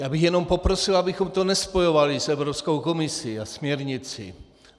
Já bych jenom poprosil, abychom to nespojovali s Evropskou komisí a směrnicí.